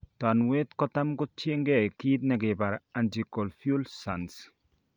Tanuet kotam kotiengei kit nigibare anticonvulsants